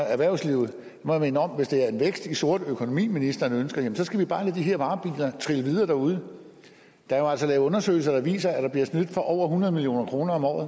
erhvervslivet må jeg minde om at hvis det er en vækst i sort økonomi ministeren ønsker så skal vi bare lade de her varebiler trille videre derude der er jo altså lavet undersøgelser der viser at der bliver snydt for over hundrede million kroner om året